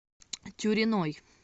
тюриной